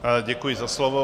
Děkuji za slovo.